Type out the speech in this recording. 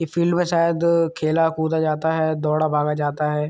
ई field में शायद खेला कूदा जाता है दौड़ा भागा जाता है।